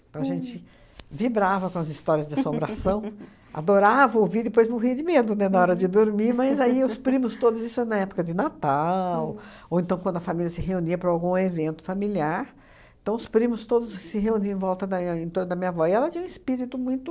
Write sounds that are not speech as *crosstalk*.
Então a gente vibrava com as histórias de assombração, *laughs* adorava ouvir, depois morria de medo, né, na hora de dormir, mas aí os primos todos, isso na época de Natal, ou então quando a família se reunia para algum evento familiar, então os primos todos se reuniam em volta da ia em torno da minha avó, e ela tinha um espírito muito...